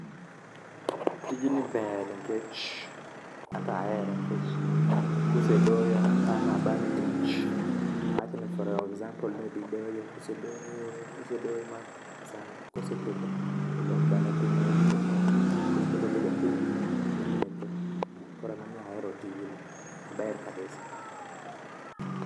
Tijni ber nikech, anto ahere nikech kosedoyo bang' tich awach ni for example kodhi doyo, kose doyo ma saa kose chopo koro odok dala mos koro obedo abeda piny to ometho. Koro ema omiyo ahero tijni. Ober kabisa.